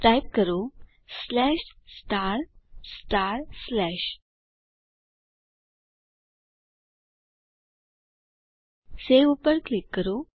type કરો save ઉપર click કરો